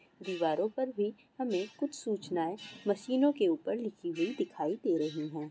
दीवारो पर भी हमें कुछ सूचनाए मशीनों के उप्पर लिखी हुई दिखाई दे रही है।